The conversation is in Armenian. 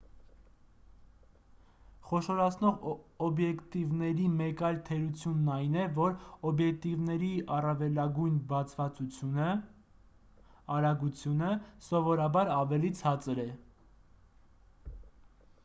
խոշորացնող օբյեկտիվների մեկ այլ թերությունն այն է որ օբյեկտիվների առավելագույն բացվածությունը արագությունը սովորաբար ավելի ցածր է։